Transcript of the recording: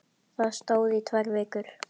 Það stóð í tvær vikur.